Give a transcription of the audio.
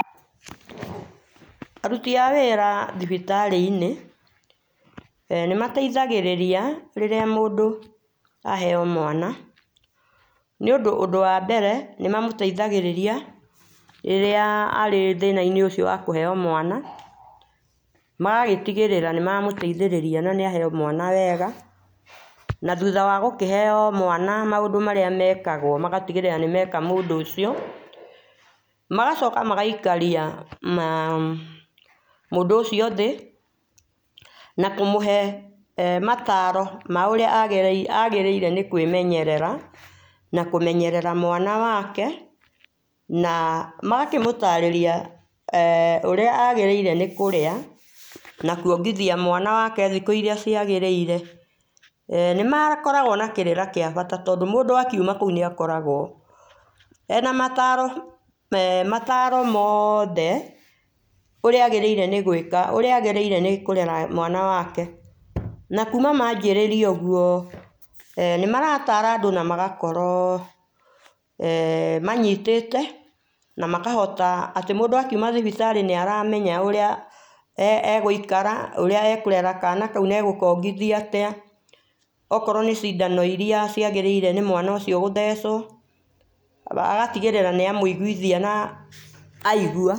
Arũtĩ a wĩra thibitarĩ inĩ , e nĩmateithagĩrĩria rĩrĩa mũndũ a heo mwana nĩ ũndũ ũndũ wambere nĩmamũtethagĩrĩria rĩrĩa arĩ thĩna inĩ ũcio wa kũheo mwana magagĩtigĩrĩra nĩmamũteithĩrĩria na nĩaheo mwana wega nathũtha wa gũkĩheo mwana maũndũ marĩa mekagwo ũgatĩgĩrĩra nĩmeka mũndũ ũcio, magacoka magaĩkaria mũndũ ũcio thĩ na kũmũhe mataro ma ũrĩa agĩrĩire nĩ kwĩmenyerera na kũmenyerera mwana wake na magakĩmũarĩria ũrĩa agĩrĩire kũrĩa nakũongĩthia mwana wake thikũ irĩa ciagĩrĩire eeh nĩmakoragwo na kĩrĩra gĩa bata tondũ mũndũ akĩũma kũu nĩakoragwo ena mataro me mataro e mothe ũrĩa agĩrĩire nĩ gwĩka ũrĩa agĩrĩire nĩkũrera mwana wake na kũma majĩrĩria ũgũo eeh nĩmaratara andũ magakorwo eeh manyitate na makahota atĩ mũndũ akĩũma thibitarĩ nĩaramemya ũrĩa e gũikara kana kaũ na egũkongithia atĩa okorwo nĩ cindano irĩa ciagĩrĩire nĩ mwana ũcio gũthecwo agatĩgĩrĩrra nĩamũĩgũithia na aigũa.